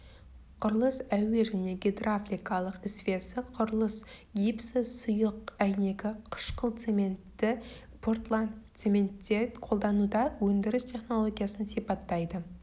құрылыс әуе және гидравликалық ісвесі құрылыс гипсі сұйық әйнегі қышқыл цементі портландцементте қолдануда өндіріс технологиясын сипаттайды